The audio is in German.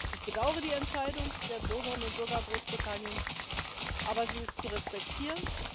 Ich bedaure die Entscheidung der Bürgerinnen und Bürger Großbritanniens, aber sie ist zu respektieren.